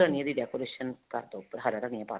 ਧਨੀਏ ਦੀ decoration ਕਰਦੋ ਉੱਪਰ ਹਰਾ ਧਨੀਆ ਪਾ ਦੋ